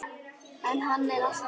En hann er alltaf til.